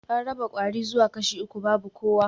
An raba kwari zuwa kashi uku babu kowa